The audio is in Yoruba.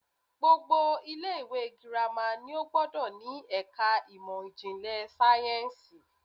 Gbogbo ilé ìwé girama ni ó gbódò ni èka ìmò ìjìnlè sáyénsì